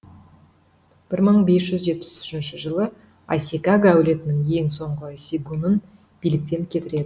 бір мың бес жүз жетпіс үшінші жылы асикага әулетінің ең соңғы сегунын биліктен кетіреді